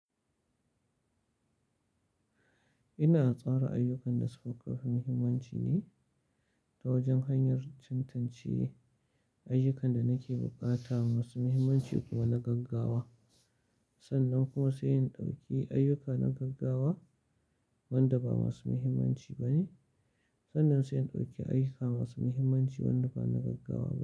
Ina tsara ayyukan da suka fi muhimmanci ne ta wajen hanyar tantance ayyukan da nake bukata masu muhimmanci kuma na gaggawa. Sannan kuma sai in ɗauki ayyuka na gaggawa wanda ba masu muhimmanci ba ne. Sannan sai in ɗauki ayyuka masu muhimmanci wanda ba na gaggawa ba.